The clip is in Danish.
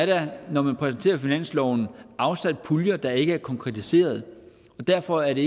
der når man præsenterer finansloven afsat puljer der ikke er konkretiseret og derfor er det